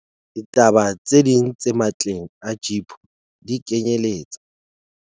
Ditaba tse ding tse matleng a GEPO di kenyeletsa.